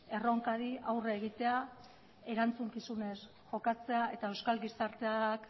erronkari aurre egitea erantzukizunez jokatzea eta euskal gizarteak